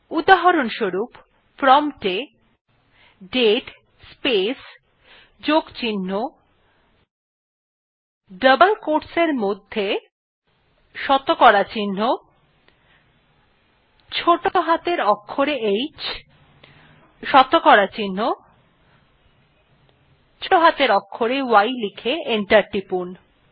উদাহরনস্বরুপ prompt এ date space যোগ চিহ্ন ডাবল কোয়োটস এ শতকরা চিহ্ন ছোটো হাতের অক্ষরে h শতকরা চিহ্ন ছোটো হাতের অক্ষরে y লিখে এন্টার টিপুন